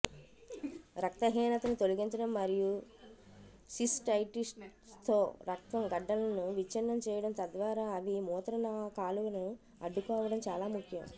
రక్తహీనతని తొలగించడం మరియు సిస్టైటిస్తో రక్తం గడ్డలను విచ్ఛిన్నం చేయడం తద్వారా అవి మూత్ర కాలువను అడ్డుకోవడం చాలా ముఖ్యం